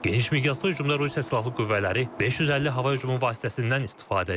Geniş miqyaslı hücumda Rusiya silahlı qüvvələri 550 hava hücumu vasitəsindən istifadə edib.